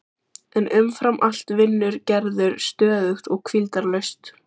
En umfram allt vinnur Gerður stöðugt og hvíldarlaust.